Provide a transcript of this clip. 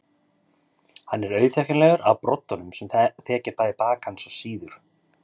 Hann er auðþekkjanlegur af broddunum sem þekja bæði bak hans og síður.